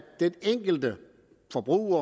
den enkelte forbruger